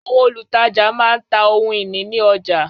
Àwọn olùtajà má ń ta ohun ìní ní ọjà